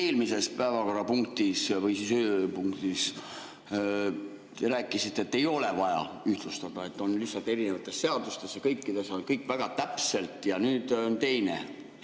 Eelmises päevakorrapunktis või ööpunktis te rääkisite, et ei ole vaja ühtlustada, see on lihtsalt erinevates seadustes ja kõikides on kõik väga täpselt, ja nüüd on teine.